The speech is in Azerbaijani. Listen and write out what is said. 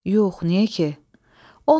Yox, niyə ki?